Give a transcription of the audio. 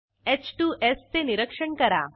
h2स् चे निरीक्षण करा